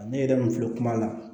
Ne yɛrɛ min filɛ kuma la